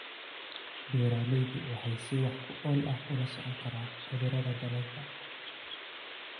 Beeraleydu waxay si wax ku ool ah ula socon karaan cudurrada dalagga.